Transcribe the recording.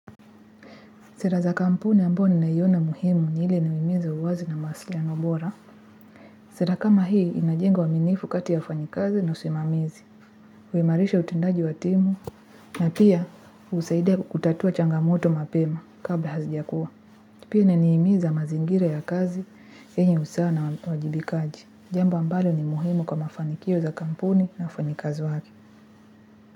Sera za kampuni ambayo ninaiona muhimu ni hile nimehimiza uwazi na mawasiliano bora sera kama hii inajenga uaminifu kati ya wafanyikazi na usimamizi. Kuimarisha utendaji wa timu na pia husaidia kutatua changamoto mapema kabla hazijakua pia ina nihimiza mazingira ya kazi yenye usaa na wajibikaji. Jambo ambalo ni muhimu kwa mafanikio za kampuni na wafanyikazi wake.